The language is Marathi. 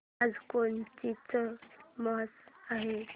आज कोणाची मॅच आहे